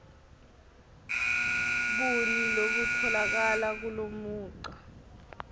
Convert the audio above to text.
buni lobutfolakala kulomugca